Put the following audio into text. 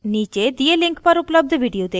नीचे दिए link पर उपलब्ध video देखें